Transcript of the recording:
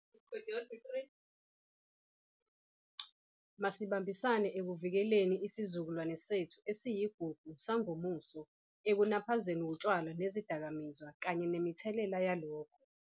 Masibambisane ekuvikeleni isizukulwane sethu esiyigugu sangomuso ekunaphazweni wutshwala nezidakamizwa kanye nemithelela yalokho.